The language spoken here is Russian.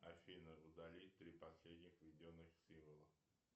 афина удалить три последних введенных символа